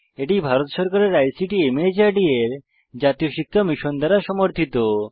এটি ভারত সরকারের আইসিটি মাহর্দ এর জাতীয় শিক্ষা মিশন দ্বারা সমর্থিত